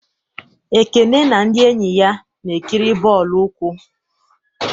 Ekene na ndị enyi ya na-ekiri bọọlụ ụkwụ.